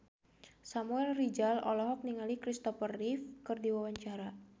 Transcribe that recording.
Samuel Rizal olohok ningali Kristopher Reeve keur diwawancara